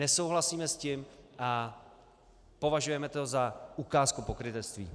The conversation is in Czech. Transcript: Nesouhlasíme s tím a považujeme to za ukázku pokrytectví.